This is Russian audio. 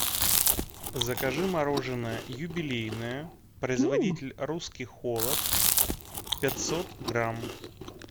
закажи мороженое юбилейное производитель русский холод пятьсот грамм